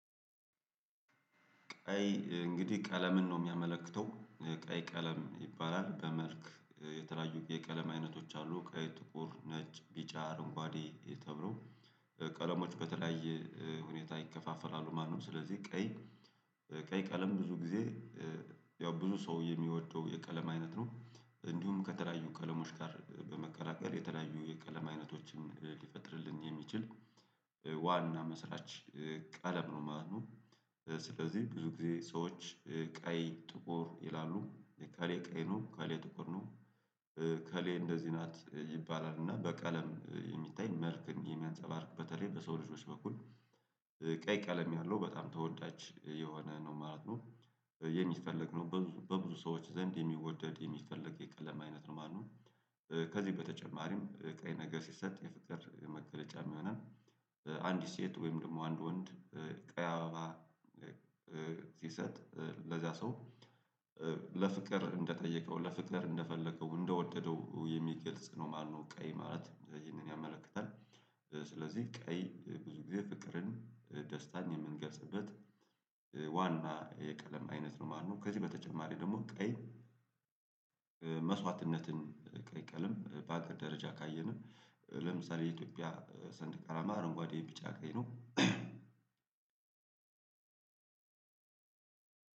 ቀይ እንግዲህ ቀለምን ነው የሚያመለክተው ቀይ ቀለም ይባላል በመልክ የተለያዩ የቀለም አይነቶች አሉ ቀይ ጥቁር ነጭ ቢጫ አረንጓዴ ተብሎ ቀለሞች በተለያየ ሁኔታ ይከፋፈላሉ ማለት ነው። ስለዚህ ቀይ ቀይ ቀለም ብዙ ጊዜ ያው ብዙ ሰው የሚወደው የቀለም አይነት ነው። እንዲሁም ከተለያዩ ቀለሞች ጋር በመቀላቀል የተለያዩ የቀለም አይነቶችም ሊፈጥርልን የሚችል ዋና መስራች ቀለም ነው ማለት ነው። ስለዚህ ብዙ ጊዜ ሰዎች ቀይ ጥቁር ይላሉ እሌ ቀይ ነው እከሌ ጥቁር ነው። ከሌ እንደዚህ ናት ይባላል እና በቀለም የሚታይ መልክን የሚያንፀባርቅ በተለይ በሰው ልጆች በኩል ቀይ ቀለም ያለው በጣም ተወዳጅ የሆነ ነው ማለት ነው። የሚፈለግ ነው በብዙ በብዙ ሰዎች ዘንድ የሚወደድ የሚፈለግ የቀለም አይነት ነው ማለት ነው። ከዚህ በተጨማሪም ቀይ ነገር ሲሰጥ የፍቅር መገለጫም የሆነን አንዲት ሴት ወይም ደግሞ አንድ ወንድ ቀይ አበባ ሲሰጥ ለዛ ሰው ለፍቅር እንደጠየቀው ለፍቅር እንደፈለገው እንደወደደው የሚገልጽ ነው ማለት ነው። ቀይ ማለት ይህንን ያመለክታል ስለዚህ ቀይ ብዙ ጊዜ ፍቅርን ደስታን የምንገልጽበት ዋና የቀለም አይነት ነው ማለት ነው። ከዚህ በተጨማሪ ደግሞ ቀይ መስዋዕትነትን ቀይ ቀለም በአገር ደረጃ ካየንም ለምሳሌ የኢትዮጵያ ሰንደቅ አላማ አረንጓዴ ቢጫ ቀይ ነው።